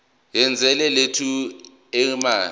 yezwe lethu eminyakeni